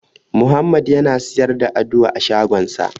Muhammadu yana siyar da Aduwa a shagonsa.